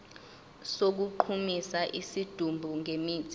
sokugqumisa isidumbu ngemithi